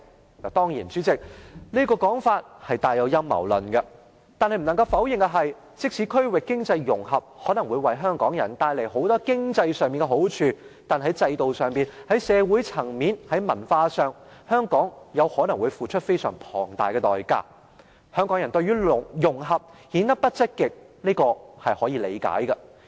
當然，代理主席，這個說法帶有陰謀論，但不能否認的是，區域經濟融合可能會為香港人帶來很多經濟上的好處。但是，在制度、社會層面、文化上，香港可能要付出非常龐大的代價，香港人對於"融合"顯得不積極，是可以理解的。